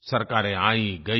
सरकारें आईंगईं